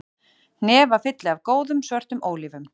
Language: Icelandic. Hnefafylli af góðum, svörtum ólífum